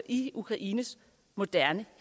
i ukraines moderne